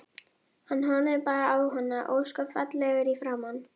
Hann horfði bara á hana, ósköp fallegur í framan.